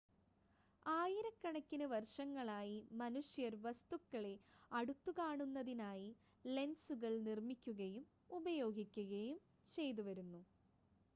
ആയിരക്കണക്കിന് വർഷങ്ങളായി മനുഷ്യർ വസ്തുക്കളെ അടുത്തുകാണുന്നതിനായി ലെൻസുകൾ നിർമ്മിക്കുകയും ഉപയോഗിക്കുകയും ചെയ്തുവരുന്നു